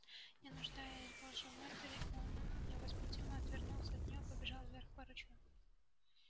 не нуждаясь больше в матери он невозмутимо отвернулся от нее и побежал вверх по ручью